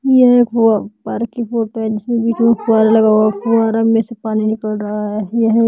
यह एक पार्क की फोटो है जिसमें वीडियो कॉल लगा हुआ है फव्वारा में से पानी निकल रहा है यह एक--